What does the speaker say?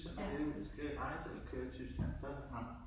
Så når vi ude han skal rejse eller køre i Tyskland så ham